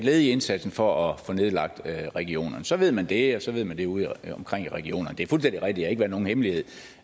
led i indsatsen for at få nedlagt regionerne så ved man det og så ved man det udeomkring i regionerne det er fuldstændig rigtigt at det nogen hemmelighed